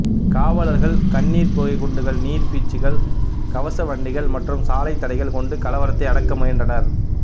காவலர்கள் கண்ணீர்புகை குண்டுகள் நீர்பீச்சிகள் கவச வண்டிகள் மற்றும் சாலைத்தடைகள் கொண்டு கலவரத்தை அடக்க முயன்றனர்